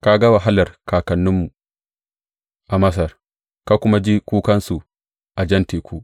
Ka ga wahalar kakanninmu a Masar; ka kuwa ji kukansu a Jan Teku.